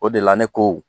O de la ne ko